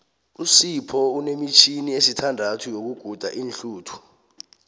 usipho unemitjhini esithandathu yokuguda iinhluthu